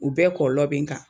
U bɛɛ kɔlɔb bɛ n kan